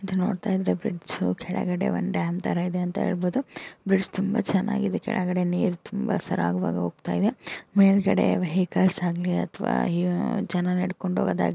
bridge ಕೆಳಗಡೆ ಒಂದು dam ತರ ಇದೆ ಅಂತ ಹೇಳ್ಬೋದು ಬ್ರಿಡ್ಜ್ ತುಂಬಾ ಚೆನ್ನಾಗ್ ಇದೆ ಕೆಳಗೆ ನೀರು ತುಂಬಾ ಸರಾಗವಾಗಿ ಹೋಗ್ತಾ ಇದೆ ಮೇಲ್ಗಡೆ ವೆಹಿಕಲ್ಸ್ ಆಗ್ಲಿ ಅಥವಾ ಜನ ನಡ್ಕೊಂಡು ಹೋಗೋದ್--